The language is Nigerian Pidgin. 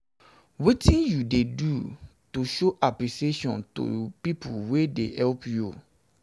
wetin you dey do to show apppreciation to people wey dey help you?